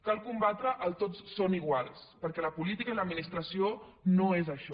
cal combatre el tots són iguals perquè la política i l’administració no són això